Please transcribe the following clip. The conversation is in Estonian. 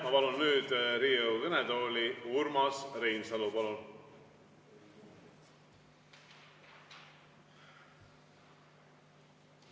Ma palun nüüd Riigikogu kõnetooli Urmas Reinsalu!